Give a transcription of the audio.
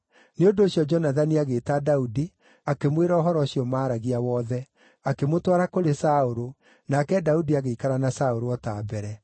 Nĩ ũndũ ũcio Jonathani agĩĩta Daudi akĩmwĩra ũhoro ũcio maaragia wothe. Akĩmũtwara kũrĩ Saũlũ, nake Daudi agĩikara na Saũlũ o ta mbere.